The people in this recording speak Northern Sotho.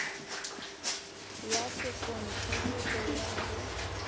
ya sekontiri go ya go